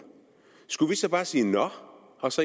skulle vi så bare sige nå og